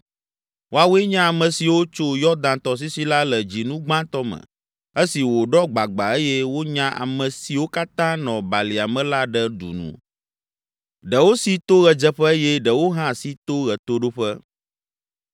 Woawoe nye ame siwo tso Yɔdan tɔsisi la le dzinu gbãtɔ me esi wòɖɔ gbagba eye wonya ame siwo katã nɔ balia me la ɖe du nu. Ɖewo si to ɣedzeƒe eye ɖewo hã si to ɣetoɖoƒe.